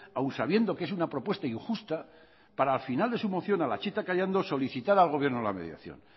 aún sabiendo que es una propuesta injusta para al final de su moción a la chita callando solicitar al gobierno la mediación